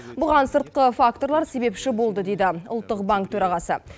бұған сыртқы факторлар себепші болды дейді ұлттық банк төрағасы